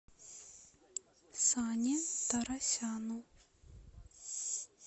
сане торосяну